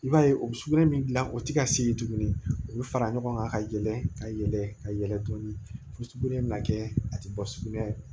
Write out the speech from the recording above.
I b'a ye o bɛ sugunɛ min dilan o tɛ ka se tuguni u bɛ fara ɲɔgɔn kan ka yɛlɛ ka yɛlɛ ka yɛlɛ tuguni fo sugunɛ bɛna kɛ a tɛ bɔ sugunɛ ye